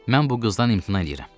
Mən bu qızdan imtina eləyirəm.